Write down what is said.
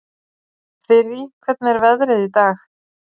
Þyrí, hvernig er veðrið í dag?